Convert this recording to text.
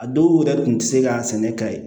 A dɔw yɛrɛ tun tɛ se ka sɛnɛ ka ye